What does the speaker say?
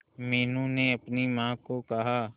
मीनू ने अपनी मां को कहा